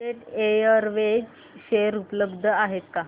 jet Airways share उपलब्ध आहेत का